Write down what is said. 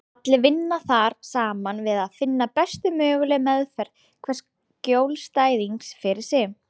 Allir vinna þar saman við að finna bestu mögulegu meðferð hvers skjólstæðings fyrir sig.